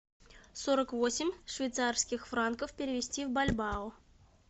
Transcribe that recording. сорок восемь швейцарских франков перевести в бальбоа